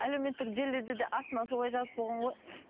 әлеуметтік желілерде де астына солай жазып қойған ғой